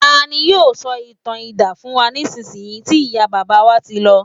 tani yíò sọ ìtàn idán fún wa nisinyi ti iya baba wa ti lọ